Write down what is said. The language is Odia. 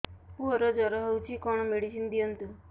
ପୁଅର ଜର ହଉଛି କଣ ମେଡିସିନ ଦିଅନ୍ତୁ